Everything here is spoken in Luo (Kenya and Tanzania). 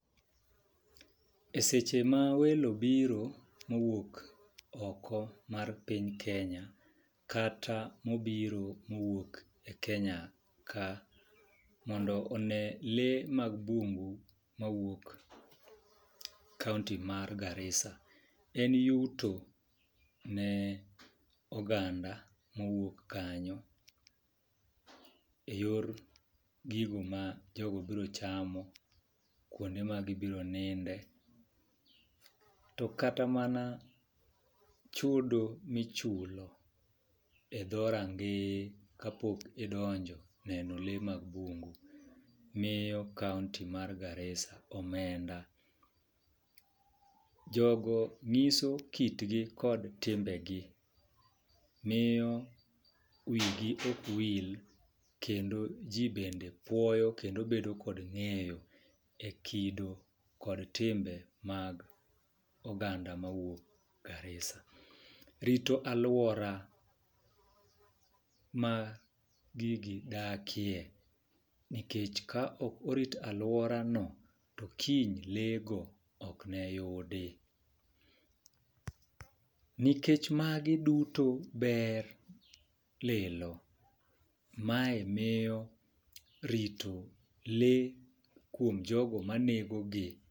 E seche ma welo biro mowuok oko mar piny Kenya kata mobiro mowuok e kenya ka mondo one lee mag bungu mawuok kaunti mar Garissa , en yuto ne oganda mawuok kanyo e yor gino ma jogo bro chamo , kuonde ma gibro ninde . To kata mana chudo michulo e dho rangeye kapok idonjo neno lee mag bungu miyo kaunti mar Garissa omenda. Jogo ng'iso kitgi kod timbe gi miyo wigi ok wil kendo jii bede puoyo kendo bedo kod ng'eyo e kido kod timbe mag oganda mawuok Garissa. Rito aluora ma gigi dakie nikech ka ok orit aluora no to kiny lee go ok ne yudi. Nikech magi duto ber lilo, mae miyo rito lee kuom jogo manego gi .